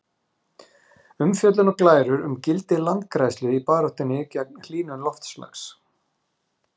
Umfjöllun og glærur um gildi landgræðslu í baráttunni gegn hlýnun loftslags.